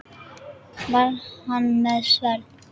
Var hann með sverð?